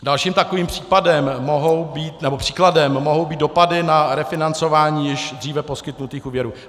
Dalším takovým příkladem mohou být dopady na refinancování již dříve poskytnutých úvěrů.